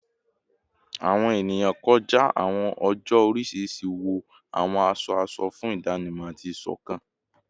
Awọn eniyan kọja awọn oojọ oriṣiriṣi wọ awọn aṣọ aṣọ fun idanimọ ati isokan